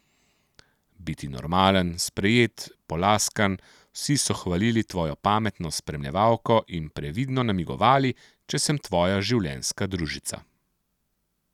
Biti normalen, sprejet, polaskan, vsi so hvalili tvojo pametno spremljevalko in previdno namigovali, če sem tvoja življenjska družica.